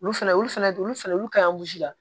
Olu fɛnɛ olu fɛnɛ olu fɛnɛ olu ka la